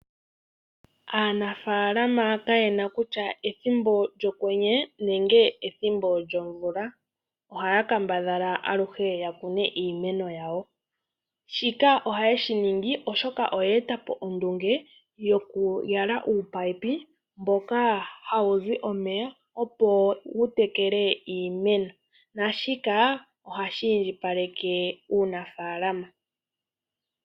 Aanikunino kayena kutya ethimbo lyokwenye nenge ethimbo lyomvula ohaa kambadhala aluhe yakune iimeno yawo shika ohayeshingi oshoka oyeetapo omukalo gokuyala uupayipi mweenda omeya opo wutekele iimeno moshikunino naashika ohashi indjipaleke uunafalama.